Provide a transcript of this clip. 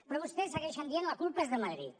però vostès segueixen dient la culpa és de madrid